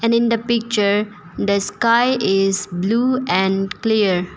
And in the picture the sky is blue and clear.